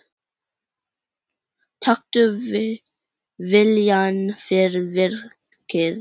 Taktu viljann fyrir verkið.